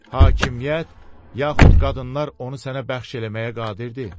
Hakimiyyət, yaxud qadınlar onu sənə bəxş eləməyə qadirdir.